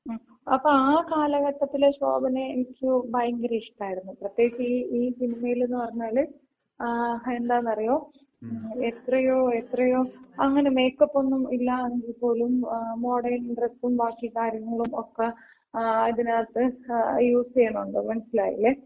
ങ്ങും, അപ്പൊ ആ കാലഘട്ടത്തിലെ ശോഭനയെ എനിക്ക് ഭയങ്കര ഇഷ്ടായിരുന്നു. പ്രത്യേകിച്ച്, ഈ ഈ സിനിമയില്ന്ന് പറഞ്ഞാല്, മ്മ് എന്താന്ന് അറിയോ? എത്രയോ എത്രയോ അങ്ങന മേക്കപ്പ് ഒന്നും ഇല്ലാണ്ട് പോലും മോഡേൺ ഡ്രെസ്സും ബാക്കി കാര്യങ്ങളും ഒക്ക ഇതിനകത്ത് യൂസ് ചെയ്യണൊണ്ട്. മനസിലായില്ലേ.